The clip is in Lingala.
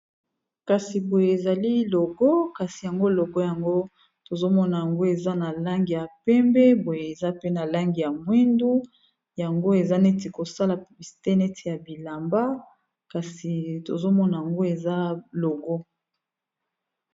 Kasi boye ezali logo, kasi yango logo yango tozomona yango eza na langi ya pembe, boye eza pe na langi ya mwindu yango eza neti kosala bisite neti ya bilamba kasi tozomona yango eza logo.